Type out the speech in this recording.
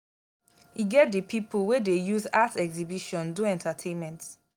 e get di pipo wey dey use art exhibition do entertainment